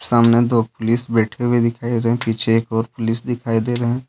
सामने दो पुलिस बैठे हुए दिखाई दे रहे हैं पीछे एक और पुलिस दिखाई दे रहे हैं।